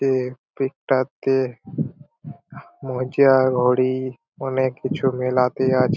pick -টাতে মোজা ঘড়ি অনেক কিছু মেলাতে আছে--